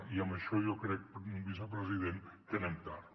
i en això jo crec vicepresident que anem tard